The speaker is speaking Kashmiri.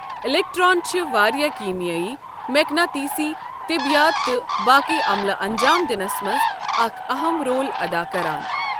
اِلؠکٹرٛان چھِ واریاہ کیٖمیٲیی ، میقناتیٖسی ، طِبیات تہٕ باقی عَملہ اَنجام دِنَس مَنٛز اَکھ اَہَم رول ادا کَران۔